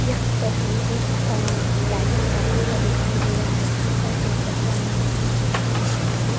यहाँ पर हमें एक अ पैलेस टाइपस का दिखाई दे रहा है जहाँ पर एक भगवान भगवान बुद्ध की --